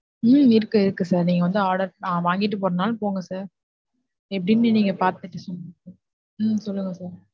உம் இருக்கு, இருக்கு sir நீங்க வந்து order வாங்கிட்டு போறதுனாலும் போங்க sir எப்படினு நீங்க பாத்துக்கோங்க. உம் சொல்லுங்க sir.